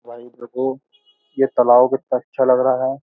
भाई देखो ये तालाव कित्ता अच्छा लग रहा है।